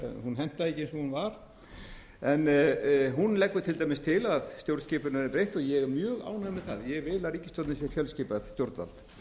stjórnskipuninni verði breytt og ég er mjög ánægður með það ég vil að ríkisstjórnin sé fjölskipað stjórnvald